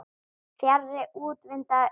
Fjarri úrvinda augum.